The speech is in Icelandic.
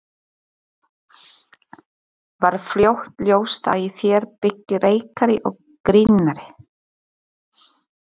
Var fljótt ljóst að í þér byggi leikari og grínari?